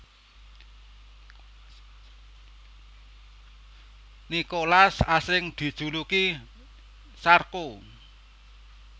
Nicolas asring dijuluki Sarko